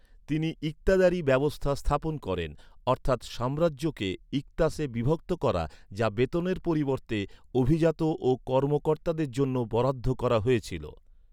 তিনি ইকতাদারী ব্যবস্থা স্থাপন করেন। অর্থাৎ সাম্রাজ্যকে ইকতাসে বিভক্ত করা, যা বেতনের পরিবর্তে অভিজাত ও কর্মকর্তাদের জন্য বরাদ্দ করা হয়েছিল।